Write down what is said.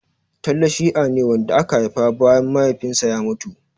Talle shia ne wanda aka haifa bayan Mahaifinsa ya mutu.